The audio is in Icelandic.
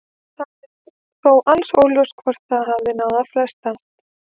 Það er þó alls óljóst hvort það hafi náð að festast.